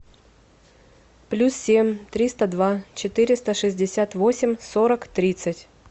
плюс семь триста два четыреста шестьдесят восемь сорок тридцать